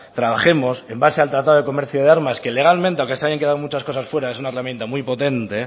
trabajemos en base al tratado de comercio de armas que legalmente aunque se hayan quedado muchas cosas fuera es una herramienta muy potente